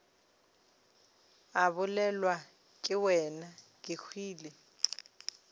a bolelwa ke wena kehwile